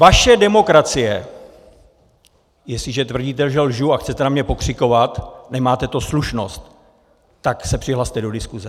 Vaše demokracie - Jestliže tvrdíte, že lžu, a chcete na mě pokřikovat, nemáte tu slušnost, tak se přihlaste do diskuse.